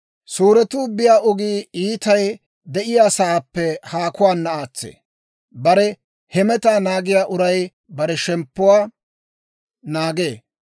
Suuretuu biyaa ogii iitay de'iyaasaappe haakuwaana aatsee; bare hemetaa naagiyaa uray bare shemppuwaa naagee.